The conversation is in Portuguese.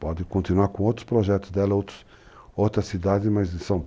Pode continuar com outros projetos dela, outros, outras cidades, mas em São Paulo